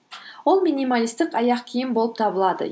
ол минималистік аяқ киім болып табылады